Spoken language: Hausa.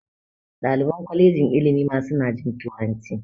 Daliban kwalejin ilimi ma su na jin turanci